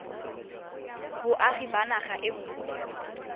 boagi ba naga e nngwe